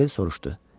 Qozbel soruşdu.